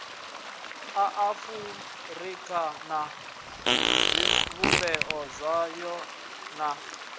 maafurika na zwivhumbeo zwayo na